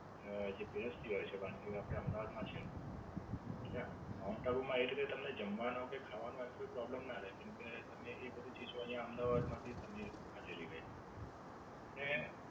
અને જે પીરસતી હોય છે જે વાંગીયાઓ એ અમદાવાદ માં છે. એટલે માઉન્ટ આબુ માં તમને જમવાનું કે ખાવાનો એમ કઈ problem ના રેય કેમકે તમને એ બધી ચીઝો અહીંયા અમદાવાદ માંથી તમે ખાધેલી મળે. અને,